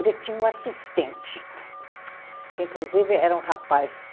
Ele tinha um assistente, que inclusive era um rapaz.